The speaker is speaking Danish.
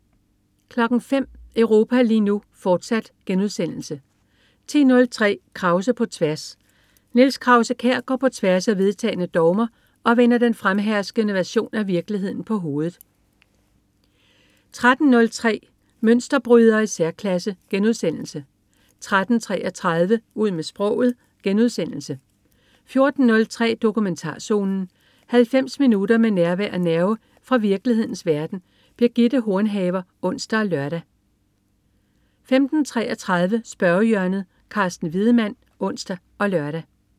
05.00 Europa lige nu, fortsat* 10.03 Krause på tværs. Niels Krause-Kjær går på tværs af vedtagne dogmer og vender den fremherskende version af virkeligheden på hovedet 13.03 Mønsterbrydere i særklasse* 13.33 Ud med sproget* 14.03 Dokumentarzonen. 90 minutter med nærvær og nerve fra virkelighedens verden. Birgitte Hornhaver (ons og lør) 15.33 Spørgehjørnet. Carsten Wiedemann (ons og lør)